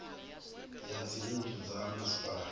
ya dzinnu dza ha masipala